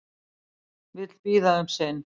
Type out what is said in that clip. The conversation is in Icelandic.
Vill bíða um sinn